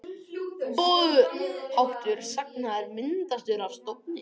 Boðháttur sagna er myndaður af stofni.